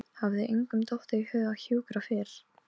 Til að minna mig á að engu er ofaukið.